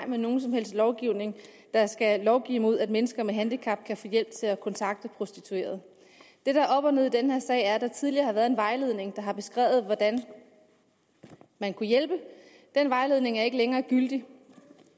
med nogen som helst lovgivning der skal lovgive imod at mennesker med handicap kan få hjælp til at kontakte prostituerede det der er op og ned i den her sag er at der tidligere har været en vejledning der har beskrevet hvordan man kunne hjælpe den vejledning er ikke længere gyldig